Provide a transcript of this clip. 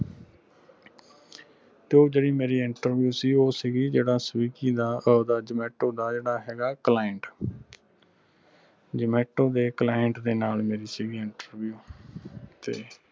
ਤੇ ਉਹ ਜਿਹੜੀ ਮੇਰੀ interview ਸੀ ਉਹ ਸੀਗੀ ਜਿਹੜਾ swiggy ਦਾ ਓਹਦਾ zomato ਦਾ ਜਿਹੜਾ ਹੇਗਾ client zomato ਦੇ client ਦੇ ਨਾਲ ਮੇਰੀ ਸੀਗੀ interview